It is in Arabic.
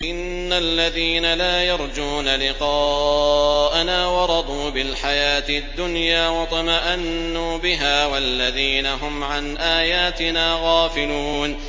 إِنَّ الَّذِينَ لَا يَرْجُونَ لِقَاءَنَا وَرَضُوا بِالْحَيَاةِ الدُّنْيَا وَاطْمَأَنُّوا بِهَا وَالَّذِينَ هُمْ عَنْ آيَاتِنَا غَافِلُونَ